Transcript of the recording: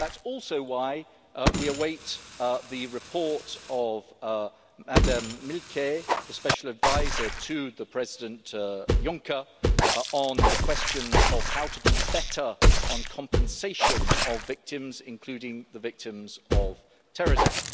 That's also why we are awaiting the report by Ms Milquet, the special adviser to President Juncker on the question of how to do better on compensation for victims, including victims of terrorism.